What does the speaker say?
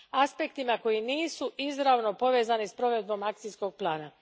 aspektima koji nisu izravno povezani s provedbom akcijskog plana.